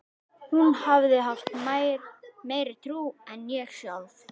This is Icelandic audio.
Hún hafði haft meiri trú en ég sjálf.